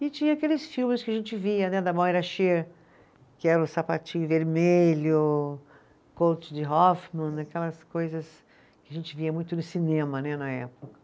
E tinha aqueles filmes que a gente via né, da Moira Shearer, que era o Sapatinho Vermelho, Coach de Hoffman né, aquelas coisas que a gente via muito no cinema né, na época.